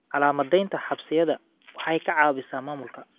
Calaamadeynta xabasyada waxay ka caawisaa maamulka.